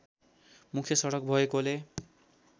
मुख्य सडक भएकोले